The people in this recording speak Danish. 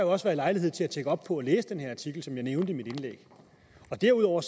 også været lejlighed til at tjekke op på det og læse den her artikel som jeg nævnte i mit indlæg derudover